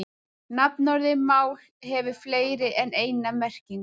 Nafnorðið mál hefur fleiri en eina merkingu.